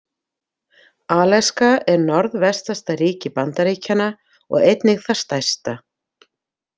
Alaska er norðvestasta ríki Bandaríkjanna og einnig það stærsta.